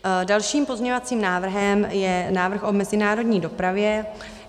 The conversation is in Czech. Dalším pozměňovacím návrhem je návrh o mezinárodní dopravě.